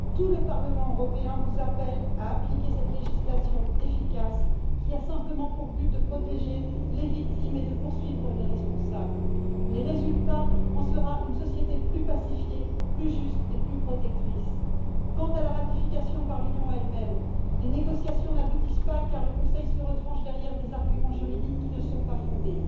Tout le Parlement européen vous appelle à appliquer cette législation efficace qui a simplement pour but de protéger les victimes et de poursuivre les responsables. Le résultat en sera une société plus pacifiée, plus juste et plus protectrice. Quant à la ratification par l'Union elle même, les négociations n'aboutissent pas car le Conseil se retranche derrière des arguments juridiques qui ne sont pas fondés.